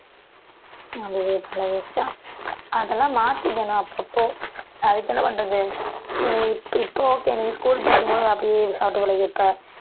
அதுவே பழகிடுச்சா அதெல்லாம் மாத்திக்கணும் அப்பப்போ அதுக்கு என்ன பண்றது நீ இப்ப இப்ப okay நீ school படிக்கும்போது அப்படியே சாப்பிட்டு பழகி இருப்ப